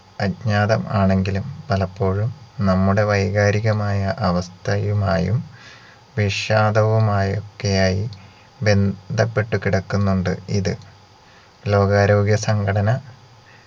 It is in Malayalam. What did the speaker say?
അക്ഞാതം ആണെങ്കിലും പലപ്പോഴും നമ്മുടെ വൈകാരികമായ അവസ്ഥയുമായും വിഷാദവുമായൊക്കെയായി ബ ന്ധപ്പെട്ട് കിടക്കുന്നുണ്ട് ഇത് ലോകാരോഗ്യ സംഘടന